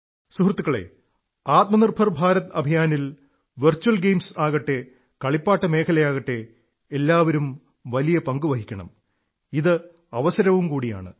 സുഹൃത്തുക്കളേ ആത്മനിർഭർ ഭാരത് അഭിയാനിൽ virtual games ആകട്ടെ കളിപ്പാട്ടമേഖലയാകട്ടെ എല്ലാവരും വലിയ പങ്കു വഹിക്കണം ഇത് അവസരവും കൂടിയാണ്